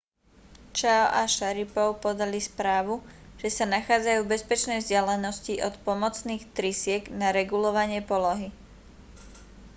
chiao a sharipov podali správu že sa nachádzajú v bezpečnej vzdialenosti od pomocných trysiek na regulovanie polohy